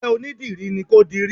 Isẹ́ onídìrí ni kó dirí